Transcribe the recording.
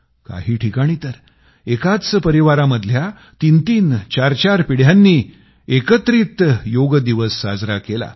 काही ठिकाणी तर एकाच परिवारामधल्या तीनतीन चारचार पिढ्यांनी एकत्रित योग दिवस साजरा केला